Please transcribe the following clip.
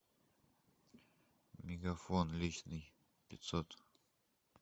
мегафон личный пятьсот